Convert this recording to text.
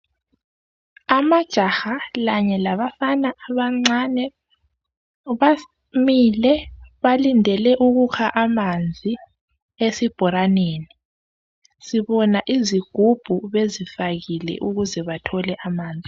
Amajaha lanye labafana abancane bamile balindele ukukha amanzi esibhoraneni, sibona izigubhu bezifakile ukuze bathole amanzi.